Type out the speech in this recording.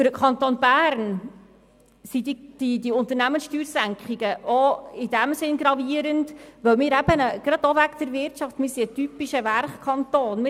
Für den Kanton Bern sind diese Unternehmenssteuersenkungen auch deshalb insbesondere in wirtschaftlicher Hinsicht gravierend, weil er ein typischer Werkkanton ist.